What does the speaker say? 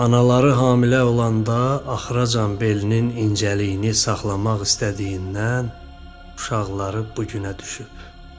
Anaları hamilə olanda axıracan belinin incəliyini saxlamaq istədiyindən uşaqları bu günə düşüb.